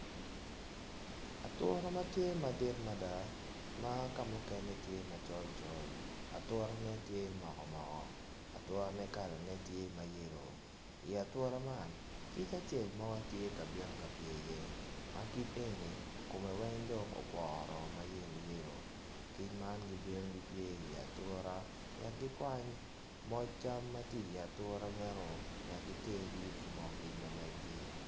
Ature ma tye madit mada ma kamukene tye macol col aturene tye moko moko aturene kalane tye mayelo i ature man kic acel tye i ye. Ma kic meno kome weng okwor ma yeloyelo. Kic man gibino pye i ature wek gikwany moc cam ma tye i ature meno wek giter giyub ki oo kic ma meggi.